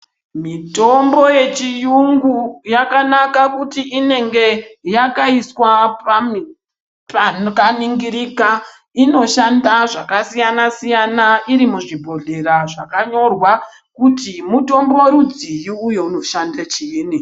Mitombo yechiyungu yakanaka kuti inenge yakaiswa pakaningirika. Inoshanda zvakasiyana siyana iri muzvibhondlera zvakanyorwa kuti mutombo rudzii uye unoshanda chiini.